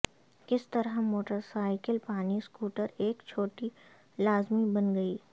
کس طرح motorcycle پانی سکوٹر ایک چھٹی لازمی بن گئی